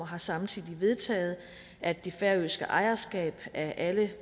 har samtidig vedtaget at det færøske ejerskab af alle